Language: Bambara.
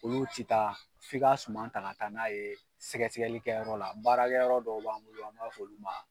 Olu ti taa f'i ka suma ta ka taa n'a ye sɛgɛli kɛyɔrɔ la baarakɛ yɔrɔ dɔw b'an bolo an b'a f'olu ma